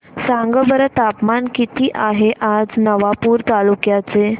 सांगा बरं तापमान किता आहे आज नवापूर तालुक्याचे